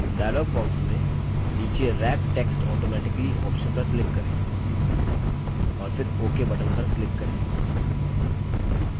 dialog box में नीचे wrap text automatically option पर click करें और फिर ok button पर click करें